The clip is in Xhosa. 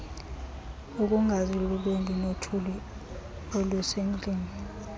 ukungazilolongi nothuli olusendlini